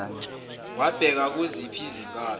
wabheka kuziphi izinkalo